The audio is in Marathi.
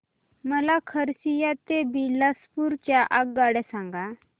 मला खरसिया ते बिलासपुर च्या आगगाड्या सांगा